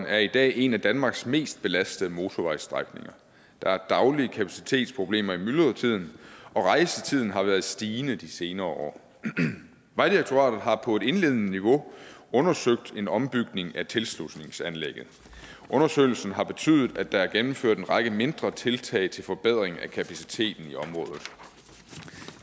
er i dag en af danmarks mest belastede motorvejsstrækninger der er daglige kapacitetsproblemer i myldretiden og rejsetiden har været stigende de senere år vejdirektoratet har på et indledende niveau undersøgt en ombygning af tilslutningsanlægget undersøgelsen har betydet at der er gennemført en række mindre tiltag til forbedring af kapaciteten